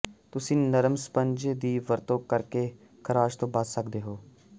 ਤੁਸੀਂ ਨਰਮ ਸਪੰਜ ਦੀ ਵਰਤੋਂ ਕਰਕੇ ਖਰਾਸ਼ ਤੋਂ ਬਚ ਸਕਦੇ ਹੋ